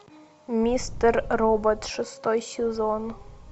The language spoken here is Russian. мистер робот шестой сезон